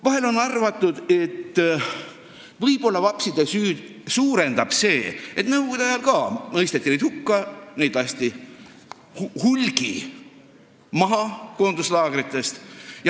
Vahel on arvatud, et vapside süüd suurendab see, et ka nõukogude ajal mõisteti neid hukka, neid lasti hulgi maha koonduslaagrites.